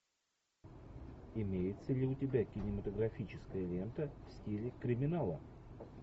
имеется ли у тебя кинематографическая лента в стиле криминала